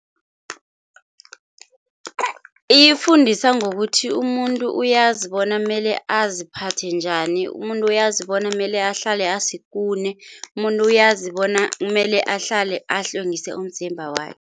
Iyifundisa ngokuthi umuntu uyazi bona mele aziphathe njani, umuntu uyazi bona mele ahlale asikune, umuntu uyazi bona mele ahlale ahlwengise umzimba wakhe.